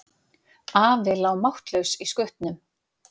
Afi lá máttlaus í skutnum.